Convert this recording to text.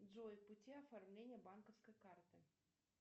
джой пути оформления банковской карты